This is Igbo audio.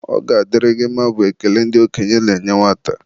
Ọ ga-adịrị gị mma bụ ekpere ndị okenye na-enye nwata.